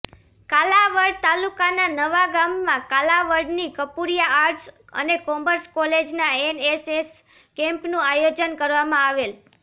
કાલાવડ તાલુકાના નવાગામમાં કાલાવડની કપુરીયા આર્ટસ અને કોમર્સ કોલેજના એનએસએસ કેમ્પનું આયોજન કરવામાં આવેલ